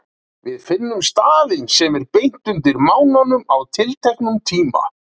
Við finnum staðinn sem er beint undir mánanum á tilteknum tíma.